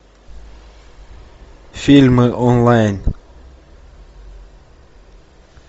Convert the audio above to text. фильмы онлайн